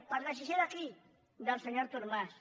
per decisió de qui del senyor artur mas